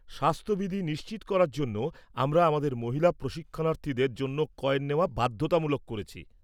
স্বাস্থ-বিধি নিশ্চিত করার জন্য আমরা আমাদের মহিলা প্রশিক্ষণার্থী-দের জন্য কয়েন নেওয়া বাধ্যতামূলক করেছি।